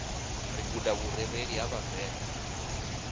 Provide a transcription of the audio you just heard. ri guda vhurereli ha vhavenda